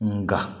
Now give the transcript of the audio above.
Nka